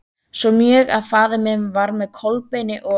Svo mjög að faðir minn var með Kolbeini og